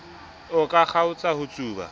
a ka kgaotsa ho tsuba